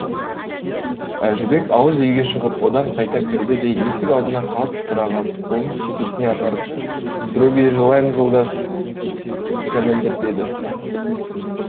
әжібек ауыз үйге шығып одан қайта кірді де есік алдына қалт тұра қап қолын шекесіне апарып здробие желаем жолдас кәмәндір деді